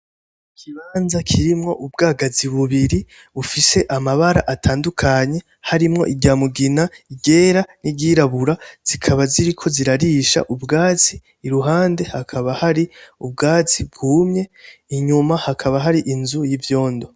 Ikibanza kirimwo ubwagazi bubiri bufise amabara atandukanye harimwo irya mugina iryera n'iryirabura zikaba ziriko zirarisha ubwatsi, iruhande hakaba hari ubwatsi bwumye, inyuma hakaba hari inzu y'ivyondo.